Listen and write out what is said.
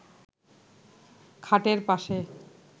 খাটের পাশে